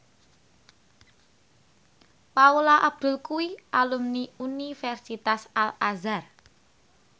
Paula Abdul kuwi alumni Universitas Al Azhar